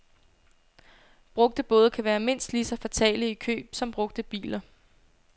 Brugte både kan være mindst lige så fatale i køb som brugte biler.